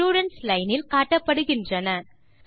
students line இல் காட்டப்படுகின்றன